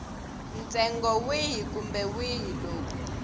ntsengo wihi kumbe wihi lowu